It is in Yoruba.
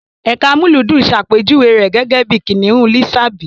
Ẹka amúlùúdùn ṣàpèjúwe rẹ̀ gẹ́gẹ́ bí Kìnìún Lísàbí.